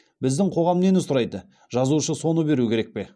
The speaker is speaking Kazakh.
біздің қоғам нені сұрайды жазушы соны беру керек пе